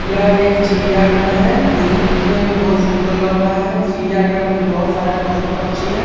यह एक चिड़िया घर है जो की दिखने मे बहुत ही सुन्दर लग रहा है चिड़िया घर में बहुत सारे पशु पक्छी है।